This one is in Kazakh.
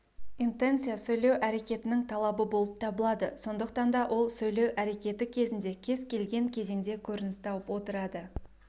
интенция сөйлеу әрекетінің талабы болып табылады сондықтан да ол сөйлеу әрекеті кезінде кез келген кезеңде көрініс тауып отырады